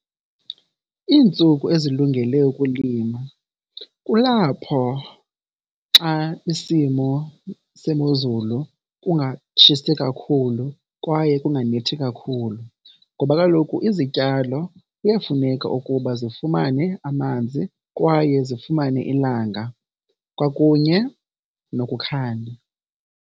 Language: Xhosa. Iintsuku ezilungele ukulima kulapho xa isimo semozulu kungatshisi kakhulu kwaye kunganethi kakhulu. Ngoba kaloku izityalo kuyafuneka ukuba zifumane amanzi kwaye zifumane ilanga kwakunye nokukhanya.